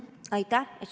Aitäh!